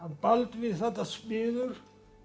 Baldvin þarna smiður